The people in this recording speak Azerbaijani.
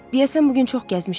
Deyəsən bu gün çox gəzmişəm.